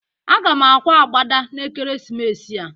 Aga m akwa agbada n'ekeresimesi a.